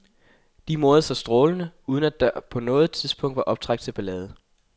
De morede sig strålende, uden at der på noget tidspunkt var optræk til ballade.